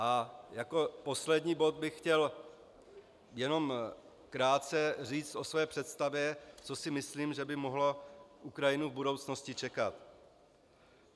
A jako poslední bod bych chtěl jen krátce říct o své představě, co si myslím, že by mohlo Ukrajinu v budoucnosti čekat.